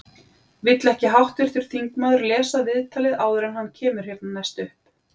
Vill ekki háttvirtur þingmaður lesa viðtalið áður en hann kemur hérna næst upp?